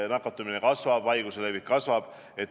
Nakatumine kasvab, haiguse levik kasvab.